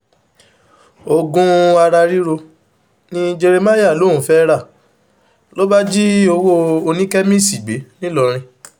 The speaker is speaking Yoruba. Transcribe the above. oògùn ara ríro ni jeremáyà lòún fẹ́ẹ́ rà ló bá jí owó oníkémíìsì gbé ńìlọrin